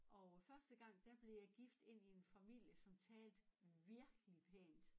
Og øh første gang der blev jeg gift ind i en familie som talte virkelig pænt